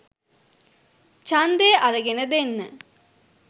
ඡන්දය අරගෙන දෙන්න